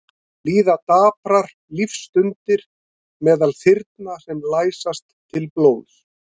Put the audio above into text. Líða og daprar lífsstundir meðal þyrna sem læsast til blóðs.